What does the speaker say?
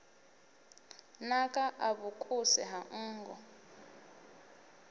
naka a vhukuse ha nngu